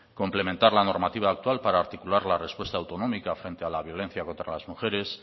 complementar la normativa actual para articular la respuesta autonómica frente a la violencia contra las mujeres